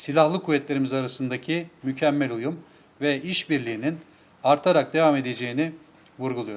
Silahlı Qüvvələrimiz arasındakı mükəmməl uyum və işbirliyinin artaraq davam edəcəyini vurguluyoruz.